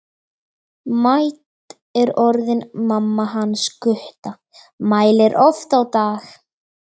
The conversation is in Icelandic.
Mædd er orðin mamma hans Gutta, mælir oft á dag.